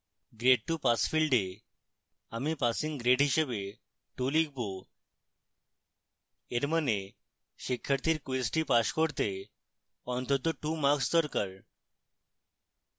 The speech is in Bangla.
grade to pass field a আমি passing grade হিসাবে 2 লিখব in means শিক্ষার্থীর কুইজটি pass করতে অন্তত 2 marks দরকার